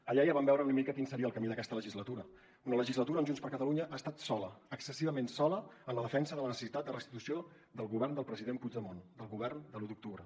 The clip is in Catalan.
allà ja vam veure una mica quin seria el camí d’aquesta legislatura una legislatura on junts per catalunya ha estat sola excessivament sola en la defensa de la necessitat de restitució del govern del president puigdemont del govern de l’u d’octubre